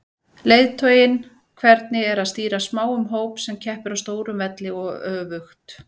Leiðtoginn, hvernig er að stýra smáum hóp sem keppir á stórum velli og öfugt?